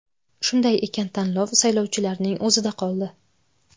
Shunday ekan, tanlov saylovchilarning o‘zida qoldi.